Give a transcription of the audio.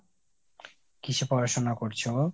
কিসে পড়াশুনা করছে ও ?